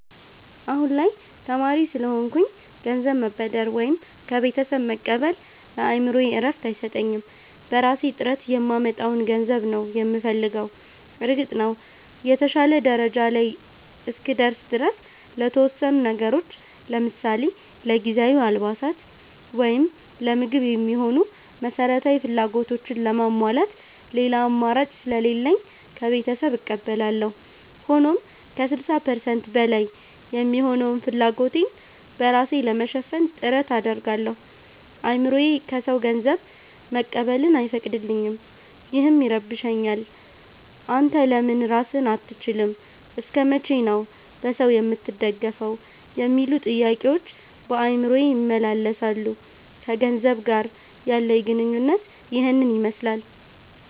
አሁን ላይ ተማሪ ስለሆንኩኝ ገንዘብ መበደር ወይም ከቤተሰብ መቀበል ለአእምሮዬ እረፍት አይሰጠኝም። በራሴ ጥረት የማመጣውን ገንዘብ ነው የምፈልገው። እርግጥ ነው፣ የተሻለ ደረጃ ላይ እስክደርስ ድረስ ለተወሰኑ ነገሮች ለምሳሌ ለጊዜያዊ አልባሳት ወይም ለምግብ የሚሆኑ መሠረታዊ ፍላጎቶችን ለማሟላት ሌላ አማራጭ ስለሌለኝ ከቤተሰብ እቀበላለሁ። ሆኖም ከ60% በላይ የሚሆነውን ፍላጎቴን በራሴ ለመሸፈን ጥረት አደርጋለሁ። አእምሮዬ ከሰው ገንዘብ መቀበልን አይፈቅድልኝም፤ ይህም ይረብሸኛል። 'አንተ ለምን ራስህን አትችልም? እስከ መቼ ነው በሰው የምትደገፈው?' የሚሉ ጥያቄዎች በአእምሮዬ ይመላለሳሉ። ከገንዘብ ጋር ያለኝ ግንኙነት ይህንን ይመስላል።